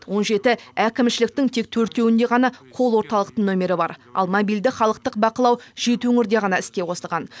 он жеті әкімшіліктің тек төртеуінде ғана кол орталықтың номері бар ал мобильді халықтық бақылау жеті өңірде ғана іске қосылған